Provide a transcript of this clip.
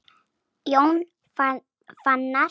Jón Fannar.